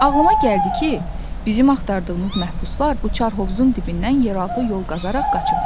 Ağılıma gəldi ki, bizim axtardığımız məhbuslar bu çar hovuzun dibindən yeraltı yol qazaraq qaçıblar.